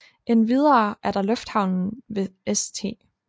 Endvidere er der lufthavnen ved St